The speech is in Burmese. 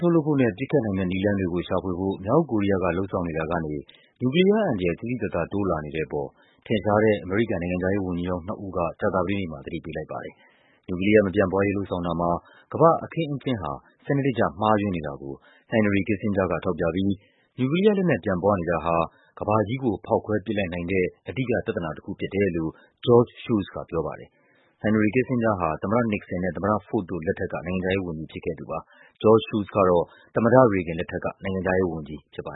ထုတ်လုပ်ဖို့နဲ့ ပစ်ခတ်နိုင်တဲ့ နည်းလမ်းတွေကို ရှာဖွေဖို့ လုပ်ဆောင်နေတာကနေ နျူကလီးယားအန္တရာယ် သိသိသာသာ တိုးလာနေတဲ့အပေါ် ထင်ရှားတဲ့ အမေရိကန် နိုင်ငံခြားရေး ဝန်ကြီးဟောင်းနှစ်ဦးက ကြာသပတေးနေ့မှာ သတိပေးလိုက်ပါတယ်။ နျူကလီးယား မပြန့်ပွားရေး လုပ်ဆောင်တာမှာ ကမ္ဘာ့အခင်းအကျင်းဟာ စနစ်တကျမှားယွင်းနေတာကို Henry Kissinger က ထောက်ပြပြီး နျူကလီးယားလက်နက် ပြန့်ပွားနေတာဟာ ကမ္ဘာကြီး ဖောက်ခွဲပစ်လိုက်နိုင်တဲ့ အဓိကပြဿနာတခုဖြစ်တယ်လို့ George Shultz ကပြောပါတယ်။ Henry Kissinger ဟာ သမ္မတ နစ်ဆင်နဲ့ သမ္မတ ဖို့ဒ်တို့လက်ထက်က နိုင်ငံခြားရေးဝန်ကြီးဖြစ်ခဲ့သူပါ။ George Shutlz ကတော့ သမ္မတရေဂင်လက်ထက်က နိုင်ငံခြားရေးဝန်ကြီးပါ